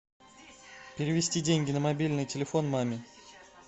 перевести деньги на мобильный телефон маме